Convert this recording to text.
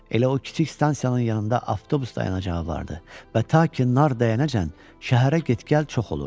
Elə o kiçik stansiyanın yanında avtobus dayanacağı vardı və ta ki nar dəyənəcən şəhərə get-gəl çox olurdu.